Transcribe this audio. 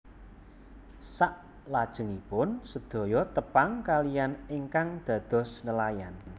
Saklajengipun sedaya tepang kaliyan ingkang dados nelayan